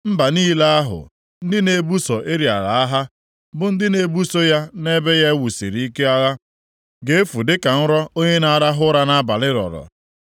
Mba niile ahụ, ndị na-ebuso Ariel agha, bụ ndị na-ebuso ya na ebe ya e wusiri ike agha, ga-efu dịka nrọ, onye na-arahụ ụra nʼabalị rọrọ.